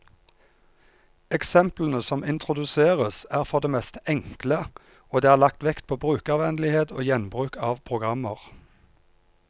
Eksemplene som introduseres, er for det meste enkle, og det er lagt vekt på brukervennlighet og gjenbruk av programmer.